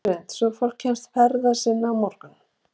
Hrund: Svo fólk kemst ferða sinna á morgun?